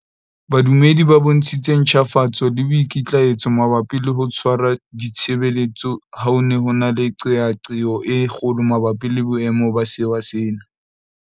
Badumedi ba bontshitse ntjhafatso le boikitlaetso mabapi le ho tshwara ditshebeletso ha ho ne ho na le qeaqeo e kgolo mabapi le boemo ba sewa sena.